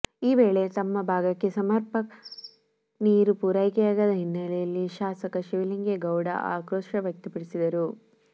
ಈ ವೇಳೆ ತಮ್ಮ ಭಾಗಕ್ಕೆ ಸಮಪರ್ಕ ನೀರು ಪೂರೈಕೆಯಾಗದ ಹಿನ್ನಲೆ ಶಾಸಕ ಶಿವಲಿಂಗೇಗೌಡ ಆಕ್ರೋಶ ವ್ಯಕ್ತಪಡಿಸಿದರು